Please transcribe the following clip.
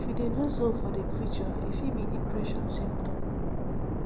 if you dey lose hope for the future e fit be depression symptom